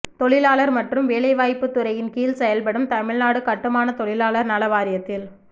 தொழிலாளர் மற்றும் வேலை வாய்ப்புத்துறையின் கீழ் செயல்படும் தமிழ்நாடு கட்டுமான தொழிலாளர் நல வாரியத்தில்